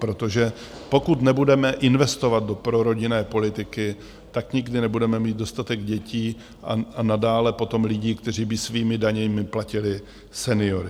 Protože pokud nebudeme investovat do prorodinné politiky, tak nikdy nebudeme mít dostatek dětí a nadále potom lidí, kteří by svými daněmi platili seniory.